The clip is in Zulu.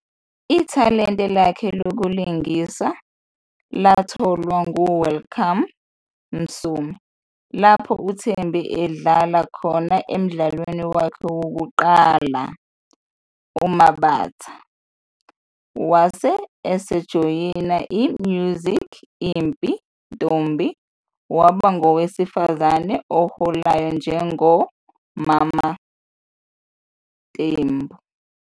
"Ithalente lakhe lokulingisa latholwa nguWelcome" Msomi lapho uThembi adlala khona emdlalweni wakhe wokuqala uMabatha. Wabe esejoyina i-'Musical Ipi Tombi ', waba ngowesifazane oholayo njengo-'Mama Tembu'.